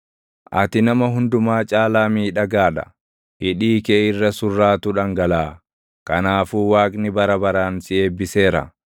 Ati nama hundumaa caalaa miidhagaa dha; hidhii kee irra surraatu dhangalaʼa; kanaafuu Waaqni bara baraan si eebbiseera.